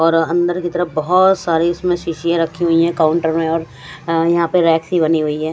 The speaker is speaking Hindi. और अंदर की तरफ इसमे बहोत सारी इसमे सीसीए रखी हुई है काउंटर में और यहा पे रेक्स बनी हुई है।